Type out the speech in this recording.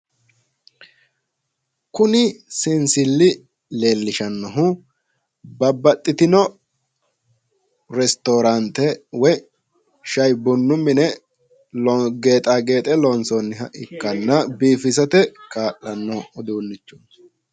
Kuni seensilli leellishino babbaxxitino restoraanteranna sha'i bunnu mine geexaageexa loonsoonni uduunnichooti